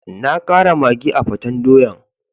Na kara maggi a'peten doyan.